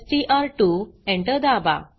Enter दाबा